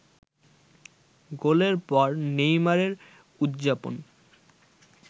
গোলের পর নেইমারের উদযাপন